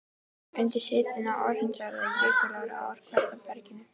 Undir setinu í Ártúnshöfða eru jökulrákir á ár-kvartera berginu.